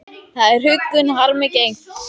Það er huggun harmi gegn.